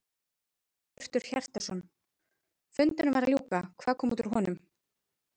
Hjörtur Hjartarson: Fundinum var að ljúka, hvað kom út úr honum?